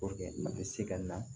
a bɛ se ka na